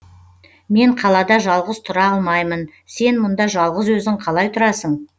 мен қалада жалғыз тұра алмаймын сен мұнда жалғыз өзің қалай тұрасың